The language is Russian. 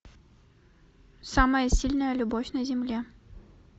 самая сильная любовь на земле